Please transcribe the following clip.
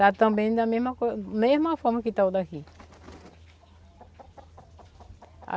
Está também da mesma coisa, mesma forma que está o daqui.